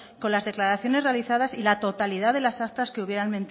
con las declaraciones realizadas y la totalidad de las actas que hubieran